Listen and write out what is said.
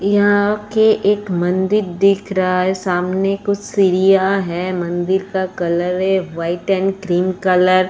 यहाँ के एक मंदिर दिख रहा है। सामने कुछ सीढ़ियाँ हैं। मंदिर का कलर है व्हाइट एंड क्रीम कलर ।